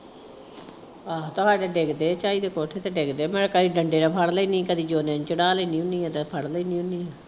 ਆਹੋ ਤੁਹਾਡੇ ਡਿੱਗਦੇ ਝਾਈ ਦੇ ਕੋਠੇ ਤੇ ਡਿੱਗਦੇ। ਮੈਂ ਕਦੀ ਡੰਡੇ ਨਾਲ ਫੜ ਲੈਂਦੀ ਕਦੇ ਜੋਨੇ ਨੂੰ ਚੜ੍ਹਾ ਲੈਂਦੀ ਹੁੰਦੀ ਆ ਤੇ ਫੜ੍ਹ ਲੈਂਦੀ ਹੁੰਦੀ ਆ।